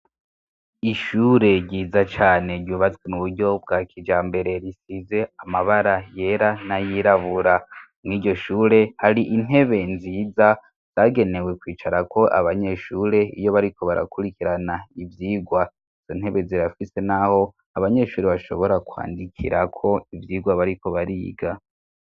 Ishure ryiza cane ryubatswe mu buryo bwa kijambere risize amabara yera nayirabura muri iryo shure, hari intebe nziza zagenewe kwicara ko abanyeshure iyo bariko barakurikirana ivyigwa. Izo ntebe zirafise n'aho abanyeshuri bashobora kwandikira ko ivyigwa bariko bariga.